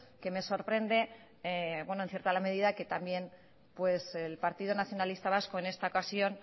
que me sorprende en cierta medida que también el partido nacionalista vasco en esta ocasión